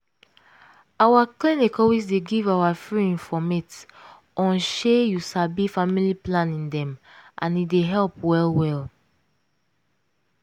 our clinic always dey give our free informate onshey you sabi family planning method dem and e dey help well well.